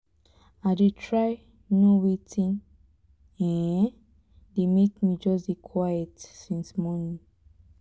i dey try know wetin um dey make me just dey quiet since morning